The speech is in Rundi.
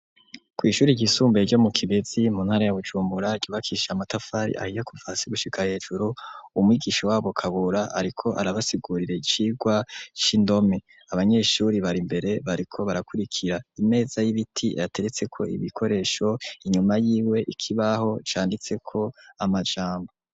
Kw’ishure ryisumbuye ryo mu kibezi mu ntara ya bujumbura ryubakisha amatafari ahiye kuva hasi gushika hejuru umwigisha wabo kabura ariko arabasigurira icigwa c’indome abanyeshure bar’imbere bariko barakurikira ,imeza y'ibiti yateretseko ibikoresho inyuma yiwe ikibaho canditseko amajambo.